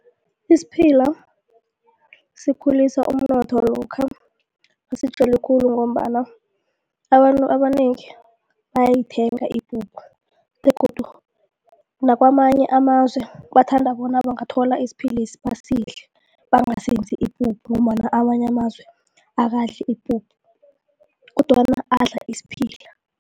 Isiphila sikhulisa umnotho lokha nasitjelwe khulu ngombana abantu abanengi bayayithenga ipuphu begodu nakwamanye amazwe bathanda bona bangathola isiphilesi basidle bangasenzi ipuphu ngombana amanye amazwe akadli ipuphu kodwana adla isiphila.